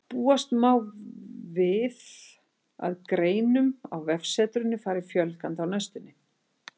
Búast má við að greinum á vefsetrinu fari fjölgandi á næstunni.